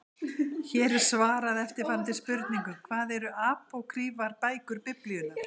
Hér er svarað eftirfarandi spurningum: Hvað eru apókrýfar bækur Biblíunnar?